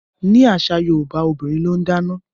Ní àṣà yorúbá obìrin lón dáná.